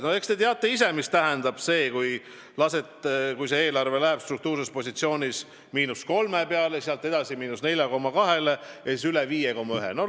No te teate ise, mida see tähendab, kui eelarve läheb struktuurses positsioonis –3% peale ja sealt edasi –4,2% peale ja siis üle –5,1%.